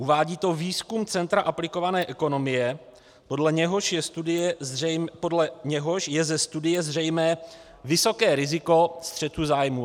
Uvádí to výzkum Centra aplikované ekonomie, podle něhož je ze studie zřejmé vysoké riziko střetu zájmů.